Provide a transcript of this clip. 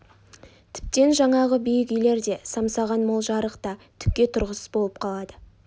тіптен жаңағы биік үйлер де самсаған мол жарық та түкке тұрғысыз болып қалды